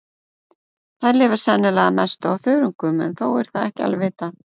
Þær lifa sennilega að mestu á þörungum en þó er það ekki alveg vitað.